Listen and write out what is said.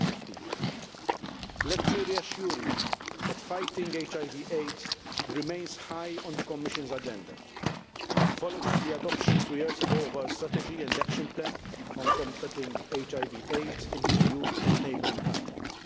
2015. Let me reassure you that fighting HIV AIDS remains high on the Commission's agenda, following the adoption two years ago of our strategy and action plan on combating HIV AIDS in the EU and neighbouring countries.